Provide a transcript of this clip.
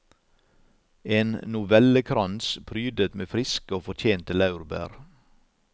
En novellekrans prydet med friske og fortjente laurbær.